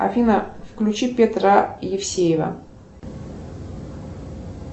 афина включи петра евсеева